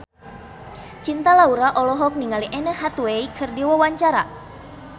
Cinta Laura olohok ningali Anne Hathaway keur diwawancara